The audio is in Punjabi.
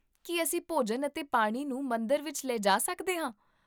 ਕੀ ਅਸੀਂ ਭੋਜਨ ਅਤੇ ਪਾਣੀ ਨੂੰ ਮੰਦਰ ਵਿੱਚ ਲੈ ਜਾ ਸਕਦੇ ਹਾਂ?